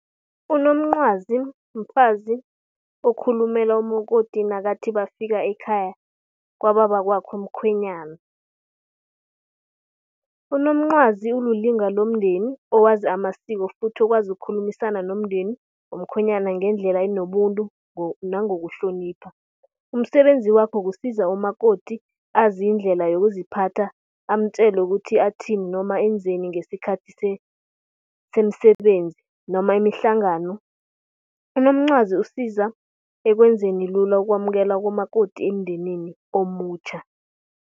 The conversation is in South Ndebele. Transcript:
Unomncwazi mfazi okhulumela umakoti nakathi bafika ekhaya kwababakwakhe umkhwenyana. Unomncwazi ulilunga lomndeni owazi amasiko futhi okwazi ukukhulumisana nomndeni womkhwenyana ngendlela enobuntu nangokuhlonipha. Umsebenzi wakhe kusiza umakoti azi indlela yokuziphatha amtjela ukuthi athini noma enzeni ngesikhathi semisebenzi noma imihlangano. Unomncwazi usiza ekwenzeni lula ukwamukelwa komakoti emindenini omutjha.